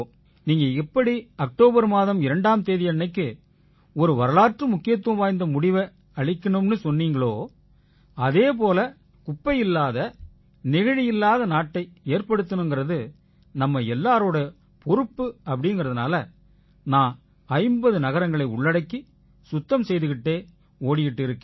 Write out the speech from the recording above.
நீங்க எப்படி அக்டோபர் மாதம் 2ஆம் தேதியன்னைக்கு ஒரு வரலாற்று முக்கியத்துவம் வாய்ந்த முடிவை அளிக்கணும்னு சொல்றீங்களோ அதே போல குப்பை இல்லாத நெகிழி இல்லாத நாட்டை ஏற்படுத்தறது நம்ம எல்லாரோட பொறுப்புங்கறதால நான் 50 நகரங்களை உள்ளடக்கி சுத்தம் செய்துக்கிட்டே ஓடிக்கிட்டு இருக்கேன்